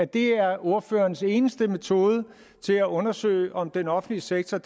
det er ordførerens eneste metode til at undersøge om den offentlige sektor